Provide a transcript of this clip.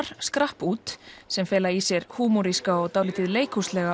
skrapp út sem fela í sér húmoríska og dálítið